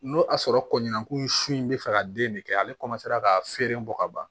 N'o y'a sɔrɔ kɔnɛkun sun in bɛ fɛ ka den de kɛ ale ka feere bɔ ka ban